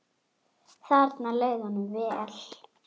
Þarna leið honum vel.